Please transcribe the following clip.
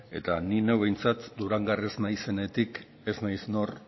eta ni neu behintzat durangarra ez naizenetik ez naiz nor